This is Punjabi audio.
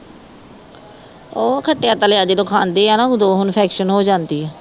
ਉਹ ਖੱਟਿਆ ਤਲਿਆ ਜਦੋਂ ਖਾਂਦੀ ਹੈ ਨਾ ਉਦੋ Iinfection ਹੋ ਜਾਂਦੀ ਹੈ